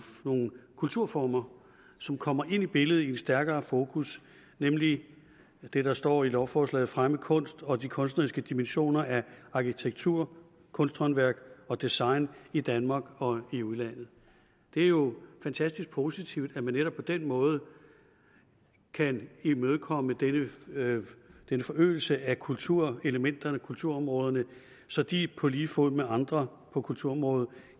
kulturformer som kommer ind i billedet i et stærkere fokus nemlig det der står i lovforslaget fremme kunst og de kunstneriske dimensioner af arkitektur kunsthåndværk og design i danmark og i udlandet det er jo fantastisk positivt at man netop på den måde kan imødekomme denne forøgelse af kulturelementerne kulturområderne så de på lige fod med andre på kulturområdet